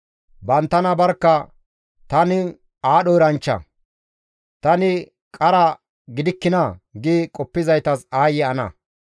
Banttana barkka, «Tani aadho eranchcha! Tani qara gidikkinaa!» gi qoppizaytas aayye ana!